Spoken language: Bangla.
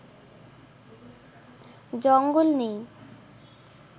জঙ্গল নেই